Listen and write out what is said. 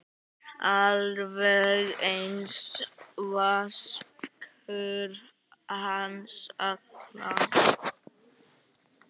Alveg einsog Vaskur hans Alla?